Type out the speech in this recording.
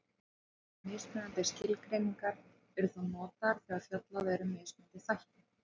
Mismunandi skilgreiningar eru þó notaðar þegar fjallað er um mismunandi þætti.